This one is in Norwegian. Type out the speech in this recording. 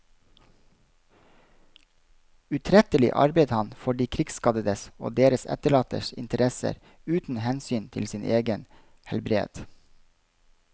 Utrettelig arbeidet han for de krigsskadedes og deres etterlattes interesser uten hensyn til sin egen helbred.